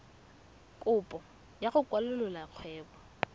kopo ya go kwalolola kgwebo